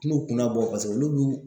Ti n'u kun labɔ paseke olu b'u